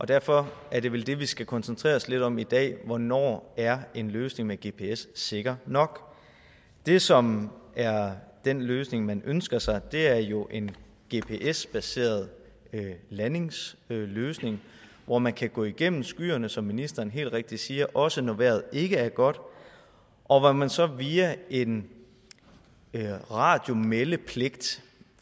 derfor er det vel det vi skal koncentrere os lidt om i dag hvornår er en løsning med gps sikker nok det som er den løsning man ønsker sig er jo en gps baseret landingsløsning hvor man kan gå igennem skyerne som ministeren helt rigtigt siger også når vejret ikke er godt og hvor man så via en radiomeldepligt